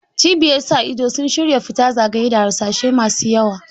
Cibiyar sa ido sun shira fita zagaye da harsashai masu yawa.